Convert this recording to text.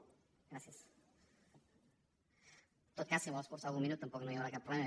en tot cas si vol escurçar algun minut tampoc no hi haurà cap problema